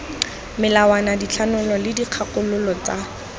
melawana dithanolo le dikgakololo tsa